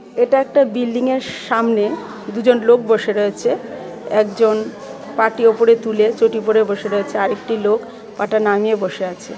এটা একটা বিল্ডিংয়ের সামনে দুজন লোক বসে রয়েছে একজন পা টি উপরে তুলে চটি পড়ে বসে আছে আর একটা লোক পা টা নামিয়ে বসে আছে .